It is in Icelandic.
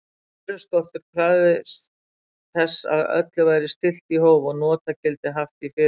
Vöruskortur krafðist þess að öllu væri stillt í hóf og notagildið haft í fyrirrúmi.